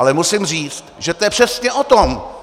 Ale musím říct, že to je přesně o tom.